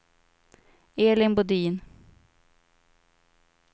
Elin Bodin